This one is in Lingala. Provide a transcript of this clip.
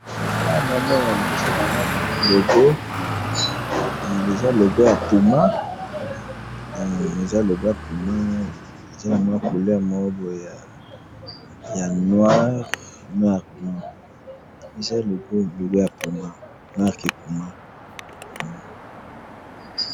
awa nazomona liboso nangayi awa nazomona logo ya puma couleur ya noir noir blanc eza logo ya puma marque puma.